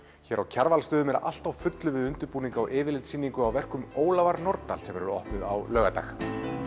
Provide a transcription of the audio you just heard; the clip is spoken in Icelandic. hér á Kjarvalsstöðum er allt á fullu við undirbúning á yfirlitssýningu á verkum Ólafar Nordal sem verður opnuð á laugardag